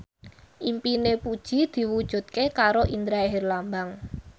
impine Puji diwujudke karo Indra Herlambang